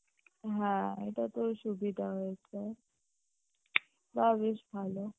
হ্যাঁ, এটা তোর সুবিধা হয়েছে তাও বেশ ভালো